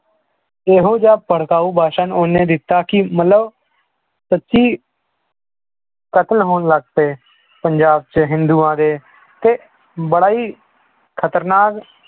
ਇਹੋ ਜਿਹਾ ਭੜਕਾਊ ਭਾਸ਼ਣ ਉਹਨੇ ਦਿੱਤਾ ਕਿ ਮਤਲਬ ਸੱਚੀ ਕਤਲ ਹੋਣ ਲੱਗ ਪਏ ਪੰਜਾਬ 'ਚ ਹਿੰਦੂਆਂ ਦੇ ਤੇ ਬੜਾ ਹੀ ਖਤਰਨਾਕ